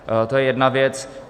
To je jedna věc.